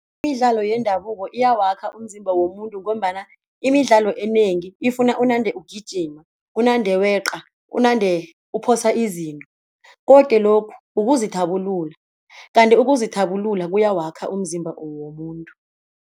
Imidlalo yendabuko iyawakha umzimba womuntu ngombana imidlalo enengi ifuna unande ukugijima unande weqa unande uphosa izinto koke lokhu ukuzithabulula, kanti ukuzithabulula kuyawakha umzimba womuntu.